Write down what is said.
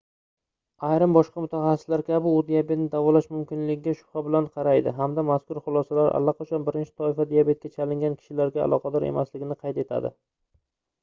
ayrim boshqa mutaxassislar kabi u diabetni davolash mumkinligiga shubha bilan qaraydi hamda mazkur xulosalar allaqachon 1-toifa diabetga chalingan kishilarga aloqador emasligini qayd etadi